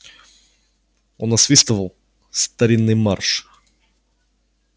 он насвистывал старинный марш